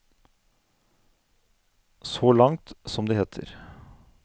Så langt, som det heter.